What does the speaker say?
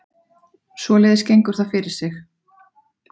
Svoleiðis gengur það fyrir sig